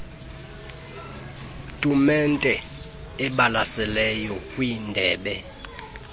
tumente ibalaseleyo kwindebe